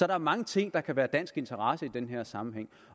er mange ting der kan være i dansk interesse i den her sammenhæng